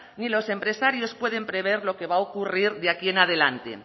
ni los empresarios pueden prever lo que va ocurrir de aquí en adelante